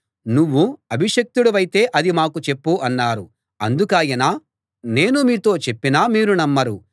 నువ్వు అభిషిక్తుడివైతే అది మాకు చెప్పు అన్నారు అందుకాయన నేను మీతో చెప్పినా మీరు నమ్మరు